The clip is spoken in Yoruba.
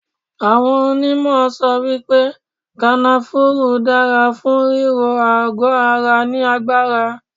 Awọ́n onímọ̀ sọ wípé kanafúrú dára fún ríró àgọ ara ní agbára.